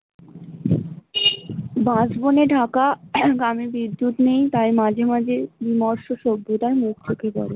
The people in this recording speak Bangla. বাঁশবনে ঢাকা গ্রামে বিদ্যুৎ নেই তাই মাঝে মাঝে